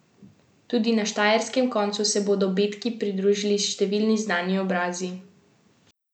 Tudi na štajerskem koncu se bodo Betki pridružili številni znani obrazi.